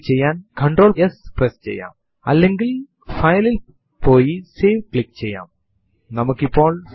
enter a command എന്ന് print ചെയ്തതിനുശേഷം അതെ നിരയിൽ തന്നെ പ്രോംപ്റ്റ് പ്രത്യക്ഷപെടുന്നതായി നമുക്ക് കാണാം